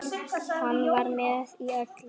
Hann var með í öllu.